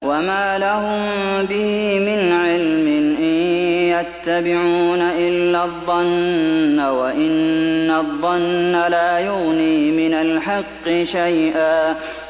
وَمَا لَهُم بِهِ مِنْ عِلْمٍ ۖ إِن يَتَّبِعُونَ إِلَّا الظَّنَّ ۖ وَإِنَّ الظَّنَّ لَا يُغْنِي مِنَ الْحَقِّ شَيْئًا